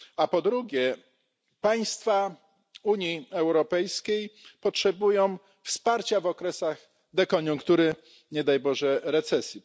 Ponadto państwa Unii Europejskiej potrzebują wsparcia w okresach dekoniunktury czy, nie daj Boże, recesji.